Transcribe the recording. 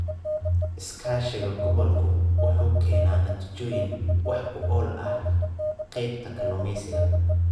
Iskaashiga gobolku wuxuu keenaa natiijooyin wax ku ool ah qaybta kalluumeysiga.